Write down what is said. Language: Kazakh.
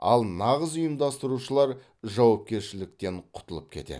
ал нағыз ұйымдастырушылар жауапкершіліктен құтылып кетеді